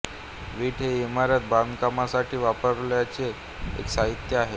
वीट हे इमारत बांधकामासाठी वापरायचे एक साहित्य आहे